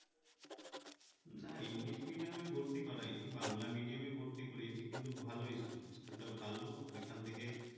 না english medium এ ভর্তি করায় নি বাংলা medium এ ভর্তি করিয়েছি কিন্তু ভালো school । school টা ভালো ওইখান থেকে